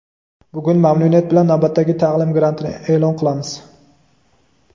bugun mamnuniyat bilan navbatdagi taʼlim grantini eʼlon qilmoqchimiz.